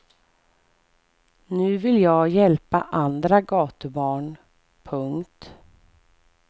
Nu vill jag hjälpa andra gatubarn. punkt